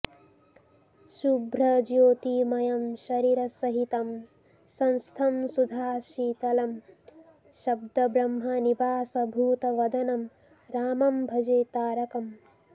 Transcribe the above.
शुभ्रज्योतिमयं शरीरसहितं संस्थं सुधाशीतलं शब्दब्रह्मनिवासभूतवदनं रामं भजे तारकम्